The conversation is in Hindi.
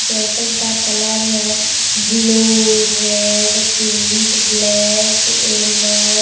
स्वेटर का कलर है blue red pink black yellow